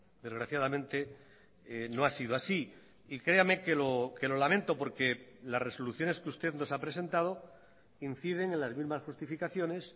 desgraciadamente no ha sido así y créame que lo lamento porque las resoluciones que usted nos ha presentado inciden en las mismas justificaciones